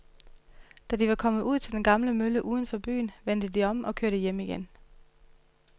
Da de var kommet ud til den gamle mølle uden for byen, vendte de om og kørte hjem igen.